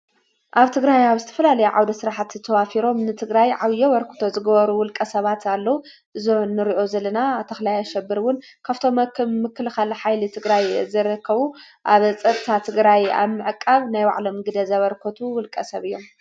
ኣብ ትግራይ ኣብ ስትፍላለይ ዓውደ ሥራሕት ተዋፊሮም ንትግራይ ዓውዪ ወርክቶ ዝገበሩ ውልቀ ሰባት ኣለዉ ዞንርኦ ዘለና ኣተኽላይ ኣሸብርውን ካፍቶምክም ምክልኻለ ኃይሊ እትግራይ ዝረከቡ ኣብ ጽታ ትግራይ ኣምዕቃብ ናይ ባዕሎም ግደ ዘበርኮቱ ውልቀ ሰብ እዮም።